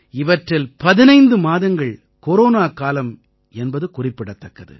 இவற்றில் 15 மாதங்கள் கொரோனாக் காலம் என்பது குறிப்பிடத்தக்கது